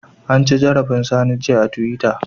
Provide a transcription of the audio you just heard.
An ci zarafin Sani jiya a twitter.